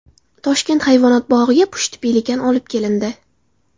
Toshkent hayvonot bog‘iga pushti pelikan olib kelindi.